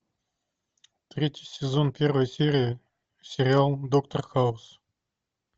третий сезон первая серия сериал доктор хаус